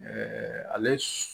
Ɛɛ ale